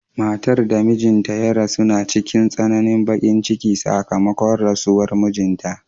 Matar da mijinta ya rasu na cikin tsananin bakin ciki sakamakon rasuwar mijinta.